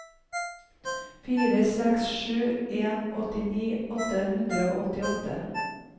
fire seks sju en åttini åtte hundre og åttiåtte